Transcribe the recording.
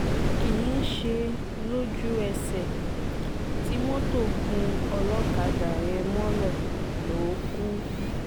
kì í ṣe lójú-ẹsẹ̀ tí mọ́tò gún ọlọ́kadà yẹn mọ́lẹ̀ ló kù